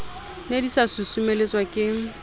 ne di sa susumeletswa ke